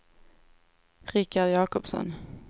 Rikard Jacobsson